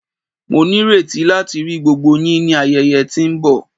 Mo nireti lati ri gbogbo yin ni ayẹyẹ ti nbọ